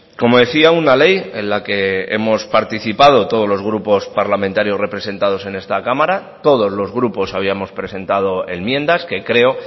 como decía una ley en la que hemos participado todos los grupos parlamentarios representados en esta cámara todos los grupos habíamos presentado enmiendas que creo